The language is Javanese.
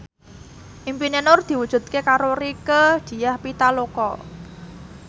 impine Nur diwujudke karo Rieke Diah Pitaloka